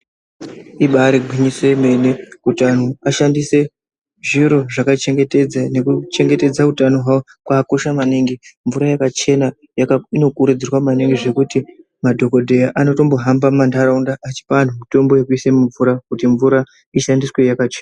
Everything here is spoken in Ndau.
Ibari gwinyiso remene Kuti vantu vashandise zviro zvakachengetedza nekuchengetedza hutano hwavo kwakakosha maningi mvura yakachena inokurudzirwa maningi zvekuti madhokodheya anoyombohamba mumandaraunda achipa antu mitombo yekuisa mumvura kuti mvura ishandiswe yakachena.